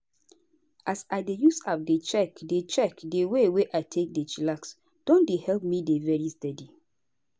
as i dey use app dey check di check di way wey i take dey chillax don dey help me dey very steady.